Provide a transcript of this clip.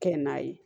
Kɛ n'a ye